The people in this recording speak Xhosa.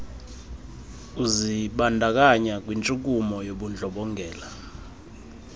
uzibandakanya kwintshukumo yobundlobongela